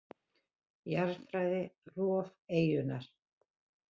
Jarðfræði: Rof eyjunnar.